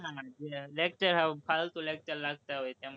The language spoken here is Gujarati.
ના ના, જે lecture સાવ ફાલતુ lecture લાગતાં હોય, એમાં જ